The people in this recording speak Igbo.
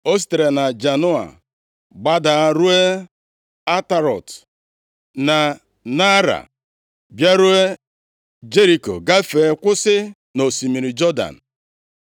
O sitere na Janoa gbadaa ruo Atarọt, na Naara, bịaruo Jeriko, gafee, kwụsị nʼosimiri Jọdan.